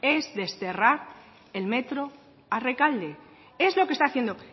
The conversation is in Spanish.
es desterrar el metro a rekalde es lo que está haciendo